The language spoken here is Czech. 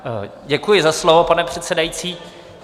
Děkuji za slovo, pane předsedající.